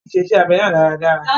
Wọ́n ṣe iṣẹ́ abẹ náà dáradára.